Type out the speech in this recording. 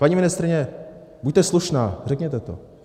Paní ministryně, buďte slušná, řekněte to.